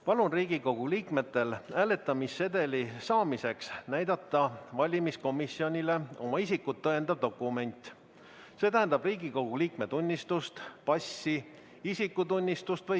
Palun Riigikogu liikmetel hääletamissedeli saamiseks näidata valimiskomisjonile oma isikut tõendavat dokumenti .